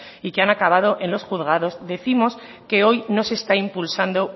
y que han acabado en los juzgados décimos que hoy no se está impulsando